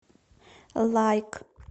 лайк